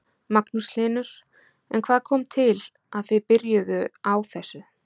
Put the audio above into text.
Magnús Hlynur: En hvað kom til að þið byrjuðu á þessu?